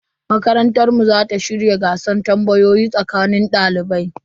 Makarantar mu za ta shirya gasar tambayoyi tsakanin dalibai.